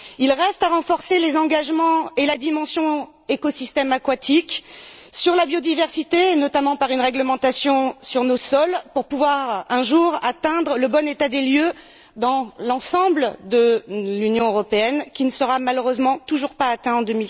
Il reste à renforcer les engagements en faveur des écosystèmes aquatiques et de la biodiversité, notamment par une réglementation sur nos sols, pour pouvoir un jour atteindre le bon état des lieux dans l'ensemble de l'Union européenne, ce qui ne sera malheureusement pas encore le cas en